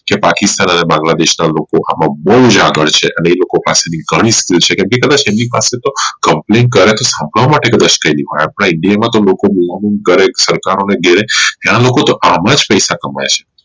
જે પાકિસ્તાન અને બાંગ્લાદેશ ના લોકો આમ બોવ જ આગળ છે અને એ લોકો પાસેની ઘણી છે કે કદાચ એમની પાસે તો Company આપડા india માં લોકો બુમાબુમ કરે અને ત્યાં ના લોકો તો આમ જ પૈસા કમાઈ છે